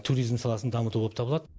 туризм саласын дамыту боп табылады